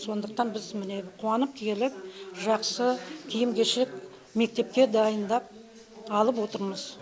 сондықтан біз міне қуанып келіп жақсы киім кешек мектепке дайындап алып отырмыз